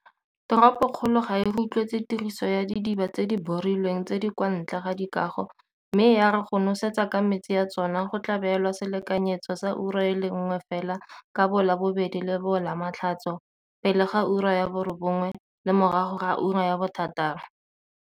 Toropokgolo ga e rotloetse tiriso ya didiba tse di borilweng tse di kwa ntle ga dikago mme ya re go nosetsa ka metsi a tsona go tla beelwa selekanyetso sa ura e le nngwe fela ka boLabobedi le boLamatlhatso, pele ga 9am le morago ga 6pm.